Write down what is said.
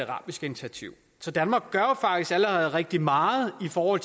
arabiske initiativ så danmark gør jo faktisk allerede rigtig meget for